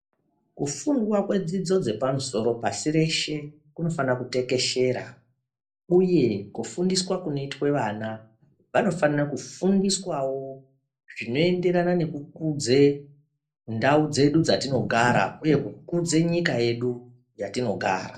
Kufundwa kwedzidzo dze pamusoro pashi reshe kunofana kutekeshera uye kufundiswa kunoitwe vana vanofanira ku fundiswawo zvino enderana neku kudze ndau dzedu dzatino gara uye kukudze nyika yedu yatino gara.